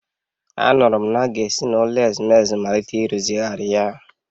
Anụrụ m na a ga-esi n’ụlọ ezumezu malite ịrụzigharị ya